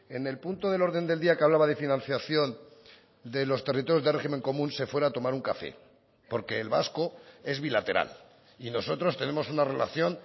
en el punto del orden del día que hablaba de financiación de los territorios de régimen común se fuera a tomar un café porque el vasco es bilateral y nosotros tenemos una relación